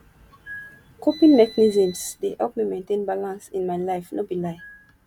coping mechanisms dey help me maintain balance in my life no be lie